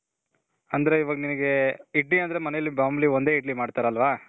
ಅಂದ್ರೆ ಇವಾಗ ನಿನ್ಗೆ ಇಡ್ಲಿ ಅಂದ್ರೆ ಮನೇಲಿ ಮಾಮೂಲಿ ಒಂದೇ ಇಡ್ಲಿ ಮಾಡ್ತಾರಲ್ವ .